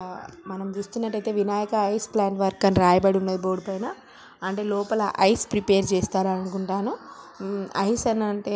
మనం చుస్తున్నట్టైతే Vinayaka ice plant work అని రాయబడి ఉన్నది బోర్డు పైన అంటే లోపల ఐస్ ప్రిపేర్ చేస్తారనుకుంటాను ఐస్ అని అంటే--